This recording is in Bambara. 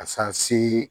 A san si